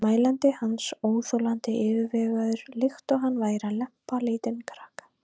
mælandi hans, óþolandi yfirvegaður, líkt og hann væri að lempa lítinn krakka.